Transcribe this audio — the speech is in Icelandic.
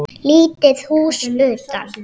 Lítið hús utan.